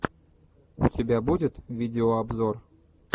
у тебя будет видеообзор